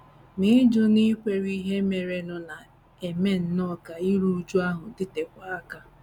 Ma ịjụ ịnakwere ihe merenụ na - eme nnọọ ka iru újú ahụ dịtekwuo aka. ’